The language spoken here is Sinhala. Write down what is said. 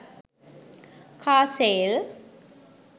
car sale